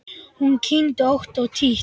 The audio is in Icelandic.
Hún kyngdi ótt og títt.